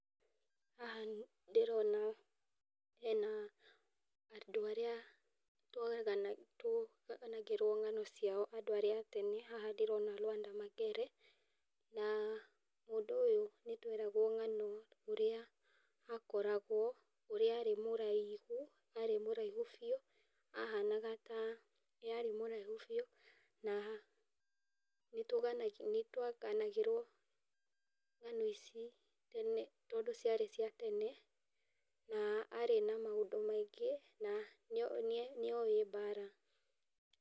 Haha ndĩrona, hena andũ arĩa tũganagĩrwo ng'ano ciao, andũ arĩa a tene. Haha ndĩrona Lwanda Magere na mũndũ ũyũ nĩ tweragwo ng'ano ũrĩa akoragwo, ũria arĩ mũraihu, arĩ mũraihu biũ, ahanaga ta..., arĩ mũraihu biũ na nĩ twaganagĩrwo ng'ano ici tene, tondũ ciarĩ cĩa tene na arĩ na maũndũ maingi, na nĩowĩ bara.